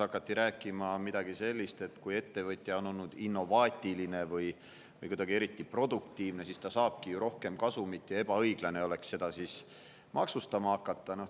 Hakati rääkima midagi sellist, et kui ettevõtja on olnud innovaatiline või kuidagi eriti produktiivne, siis ta saabki rohkem kasumit ja ebaõiglane oleks seda maksustama hakata.